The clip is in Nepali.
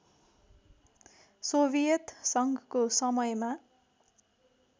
सोभियत सङ्घको समयमा